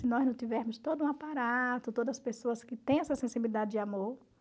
Se nós não tivermos todo um aparato, todas as pessoas que têm essa sensibilidade de amor